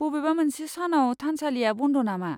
बबेबा मोनसे सानआव थानसालिया बन्द' नामा?